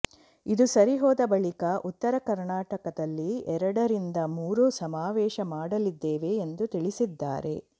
ಇದು ಸರಿ ಹೋದ ಬಳಿಕ ಉತ್ತರ ಕರ್ನಾಟಕದಲ್ಲಿ ಎರಡರಿಂದ ಮೂರು ಸಮಾವೇಶ ಮಾಡಲಿದ್ದೇವೆ ಎಂದು ತಿಳಿಸಿದ್ದಾರೆ